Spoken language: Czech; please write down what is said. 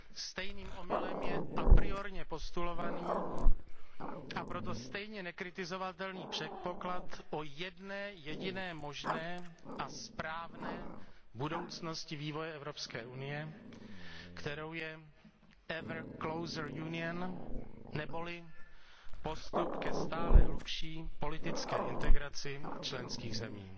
Stejným omylem je apriorně postulovaný a proto stejně nekritizovatelný předpoklad o jedné jediné možné a správné budoucnosti vývoje Evropské unie, kterou je ever closer Union, nebo li postup ke stále hlubší politické integraci členských zemí.